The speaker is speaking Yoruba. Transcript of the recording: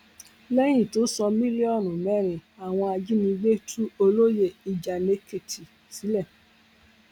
lẹyìn tó san mílíọnù mẹrin àwọn ajìnigbé tú olóyè ìjànèkìtì sílẹ